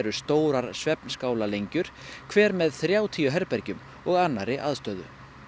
stórar hver með þrjátíu herbergjum og annarri aðstöðu